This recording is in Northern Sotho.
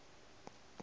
ye o e kgethago e